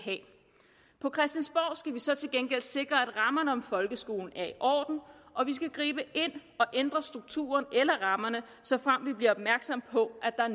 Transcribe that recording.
vi så til gengæld sikre at rammerne om folkeskolen er i orden og vi skal gribe ind og ændre strukturen eller rammerne såfremt vi bliver opmærksomme på at der er